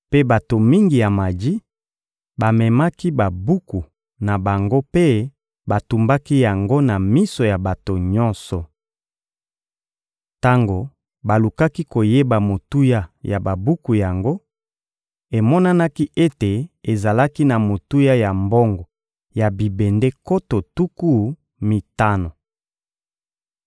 Mpe bato mingi ya maji bamemaki babuku na bango mpe batumbaki yango na miso ya bato nyonso. Tango balukaki koyeba motuya ya babuku yango, emonanaki ete ezalaki na motuya ya mbongo ya bibende nkoto tuku mitano.